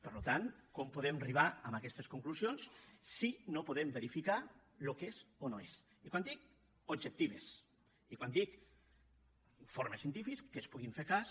per tant com podem arribar a aquestes conclusions si no podem verificar el que és o no és i quan dic objectives i quan dic informes científics de què es pugui fer cas